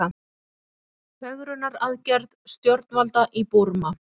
Fegrunaraðgerð stjórnvalda í Búrma